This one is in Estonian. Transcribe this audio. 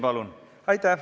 Palun!